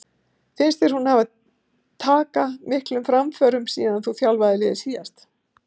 Finnst þér hún hafa taka miklum framförum síðan þú þjálfaðir liðið síðast?